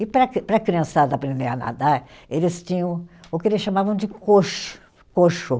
E para a cri, para a criançada aprender a nadar, eles tinham o que eles chamavam de coxo, coxo.